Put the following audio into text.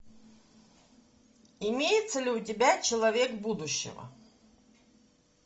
имеется ли у тебя человек будущего